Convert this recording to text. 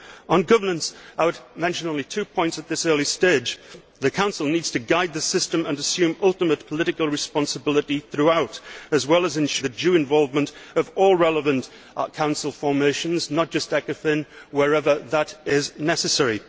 On governance, I would mention only two points at this early stage. The Council needs to guide the system and assume ultimate political responsibility throughout, as well as ensuring the due involvement of all relevant Council formations not just ECOFIN wherever that is necessary.